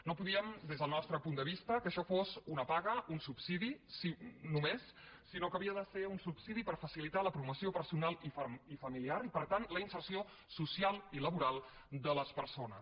no podíem des del nostre punt de vista que això fos una paga un subsidi només sinó que havia de ser un subsidi per facilitar la promoció personal i familiar i per tant la inserció social i laboral de les persones